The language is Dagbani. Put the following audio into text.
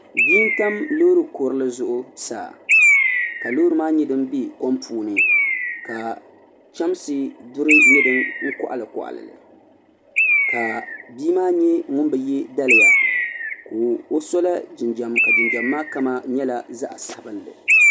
Bia n tam loori kurili zuɣu saa ka loori maa nye din be kom puuni ka chamsi duri nye din koɣili koɣili ka bia nye ŋun bi ye daliya. Ka o sola jinjam ka jinjam maa kama nye zaɣi sabinli.